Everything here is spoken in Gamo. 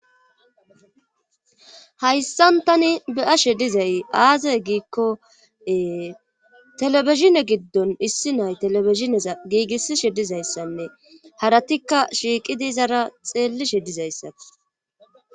Hayssan tani beyashe dizay aazay giikkoee telebishine giddon issi nay teleisinesa giigissishe dizayssanne haratikka shiiqi diizara xeellishe dizayssai.